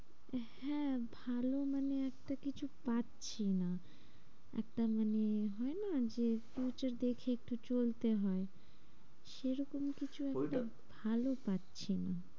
হ্যাঁ ভালো মানে একটা কিছু পাচ্ছি না। একটা মানে হয়না যে দেখে একটু চলতে হয়। এরকমই কিছু ওইটা একটা ভালো পাচ্ছি না।